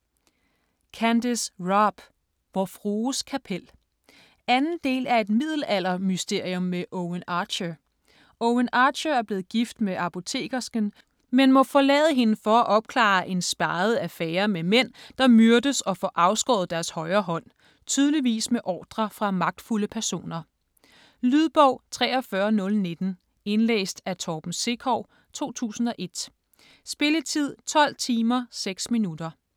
Robb, Candace: Vor frues kapel 2. del af Et middelaldermysterium med Owen Archer. Owen Archer er blevet gift med apotekersken, men må forlade hende for at opklare en speget affære med mænd, der myrdes og får afskåret deres højre hånd - tydeligvis med ordre fra magtfulde personer. Lydbog 43019 Indlæst af Torben Sekov, 2001. Spilletid: 12 timer, 6 minutter.